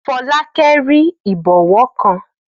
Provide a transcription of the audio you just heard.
Fọlákẹ́ rí ìbọwọ́ kan